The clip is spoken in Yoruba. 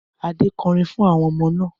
Adé kọrin fún àwọn ọmọ náà.